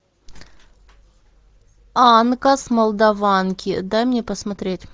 анка с молдаванки дай мне посмотреть